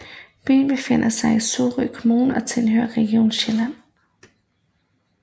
Byen befinder sig i Sorø Kommune og tilhører Region Sjælland